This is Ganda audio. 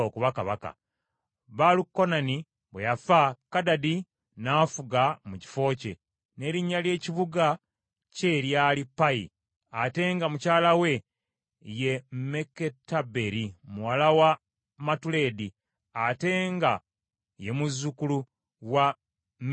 Baalukanani bwe yafa, Kadadi n’afuga mu kifo kye, n’erinnya ly’ekibuga kye lyali Payi, ate nga mukyala we ye Meketaberi muwala wa Matuledi, ate era nga ye muzzukulu wa Mezakabu.